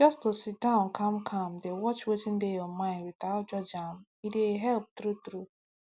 just to sit down calmcalm dey watch wetin dey your mind without judge am e dey help truetrue